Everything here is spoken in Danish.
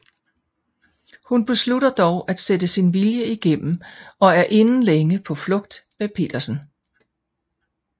Hun beslutter dog at sætte sin vilje igennem og er inden længe på flugt med Petersen